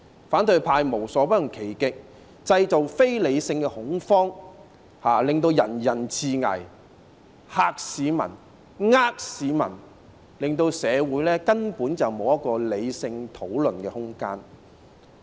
反對派無所不用其極，製造非理性恐慌，令人人自危，嚇市民、騙市民，令社會根本沒有理性討論的空間。